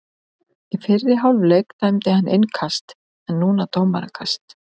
Í fyrri hálfleik dæmdi hann innkast en núna dómarakast.